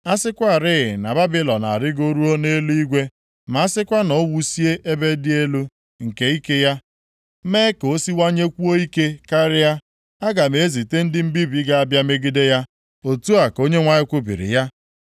A sịkwarị + 51:53 Maọbụ, asịgodu na Babilọn a arịgoruo nʼeluigwe, ma a sịkwa na o wusie ebe dị elu nke ike ya mee ka o siwanyekwuo ike karịa, aga m ezite ndị mbibi ga-abịa megide ya.” Otu a ka Onyenwe anyị kwubiri ya.